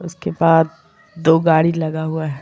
उसके बाद दो गाडी लगा हुआ है।